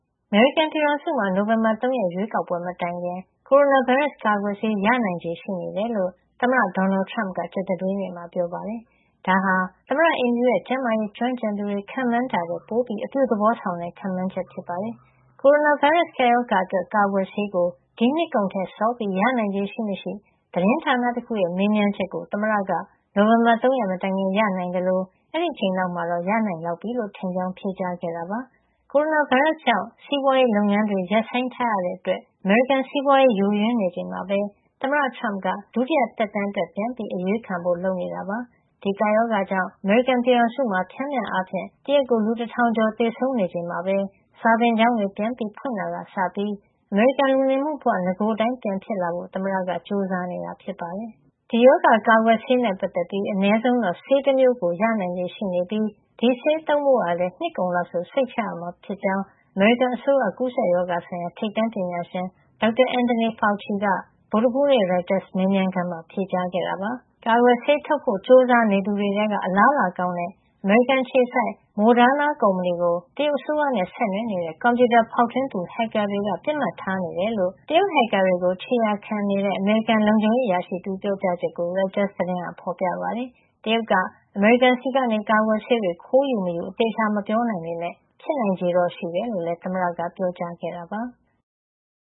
အမေရိကန်ပြည်ထောင်စုမှာ နိုဝင်ဘာ ၃ ရက် ရွေးကောက်ပွဲ မတိုင်ခင် ကိုရိုနာဗိုင်းရပ် ကာကွယ်ဆေး ရနိုင်ခြေရှိနေတယ်လို့ သမ္မတ ဒေါ်နယ်ထရမ့်က ကြာသပတေးနေ့မှာ ပြောပါတယ်။ ဒါဟာ သမ္မတအိမ်ဖြူတော်ရဲ့ ကျန်းမာရေးကျွမ်းကျင်သူတွေ ခန့်မှန်းတာထက် ပိုအပြုသဘောဆောင်တဲ့ ခန့်မှန်းချက် ဖြစ်ပါတယ်။ ကိုရိုနာဗိုင်းရပ်စ် ကပ်ရောဂါအတွက်ကာကွယ်ဆေးကို ဒီနှစ်ကုန်ထက် စောပြီး ရနိုင်ခြေရှိမရှိ သတင်းဌာနတခုရဲ့ မေးမြန်းချက်ကို သမ္မတက နိုဝင်ဘာ ၃ မတိုင်ခင် ရနိုင်သလို အဲဒီအချိန်လောက်မှာတော့ ရနိုင်လောက်ပြီလို့ ထင်ကြောင်း ဖြေကြားခဲ့တာပါ။ ကိုရိုနာဗိုင်းရပ်စ်ကြောင့် စီးပွါးရေးလုပ်ငန်းတွေ ရပ်ဆိုင်းထားရတဲ့အတွက် အမေရိကန်စီးပွါးရေး ယိုယွင်းနေချိန်မှာပဲ သမ္မတ ထရမ့်က ဒုတိယသက်တမ်း အတွက် ပြန်အရွေးခံဖို့ လုပ်နေတာပါ။ ဒီကပ်ရောဂါကြောင့် အမေရိကန်ပြည်ထောင်စုမှာ ပျမ်းမျှအားဖြင့် တရက်ကို လူ တထောင်ကျော် သေဆုံးချိန်မှာပဲ စာသင်ကျောင်းတွေ ပြန်ဖွင့်တာကစပြီး အမေရိကန် လူနေမှုဘဝ နဂိုအတိုင်း ပြန်ဖြစ်လာဖို့ သမ္မတက ကြိုးစားနေတာ ဖြစ်ပါတယ်။ ကိုရိုနာဗိုင်းရပ်စ်ရောဂါ ကာကွယ်ဆေးနဲ့ ပတ်သက်ပြီး အနည်းဆုံးတော့ ဆေးတမျိုးကို ရနိုင်ခြေရှိနေပြီး ဒီဆေးသုံးဖို့ ကလည်း နှစ်ကုန်လောက်ဆို စိတ်ချရမှာ ဖြစ်ကြောင်း အမေရိကန်အစိုးရ ကူးစက်ရောဂါဆိုင်ရာ ထိပ်တန်းပညာရှင် Dr. Anthony Fauci က ဗုဒ္ဓဟူးနေ့ ရိုက်တာသတင်းဌာန မေးမြန်းခန်းမှာ ဖြေကြားခဲ့တာပါ။ ကာကွယ်ဆေးထုတ်ဖို့ ကြိုးစားနေသူတွေထဲက အလားအလာကောင်းတဲ့ အမေရိကန် အခြေစိုက် Moderna Inc ကုမ္ပဏီ ကို တရုတ်အစိုးရနဲ့ ဆက်နွယ်နေတဲ့ ကွန်ပြူတာဖေါက်ထွင်းသူ ဟက်ကာ တွေက ပစ်မှတ်ထားနေတယ်လို့ တရုတ် ဟက်ကာတွေကို ခြေရာခံ စုံစမ်းနေတဲ့ အမေရိကန် လုံခြုံရေး အရာရှိ တဦးရဲ့ ပြောကြားချက်ကို ရိုက်တာသတင်းက ဖေါ်ပြပါတယ်။ တရုတ်က အမေရိကန်ဆီကနေ ကာကွယ်ဆေးတွေခိုးယူ ဖို့ရှိမရှိ အသေချာမပြောနိုင်ပေမယ့် ဖြစ်နိုင်ခြေရှိတယ်လို့လည်း သမ္မတက ပြောကြားခဲ့တာပါ။